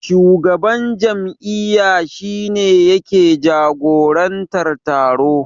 Shugaban jam'iyya shi ne yake jagorantar taro.